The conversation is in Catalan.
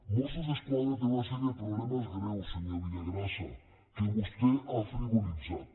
mossos d’esquadra té una sèrie de problemes greus senyor villagrasa que vostè ha frivolitzat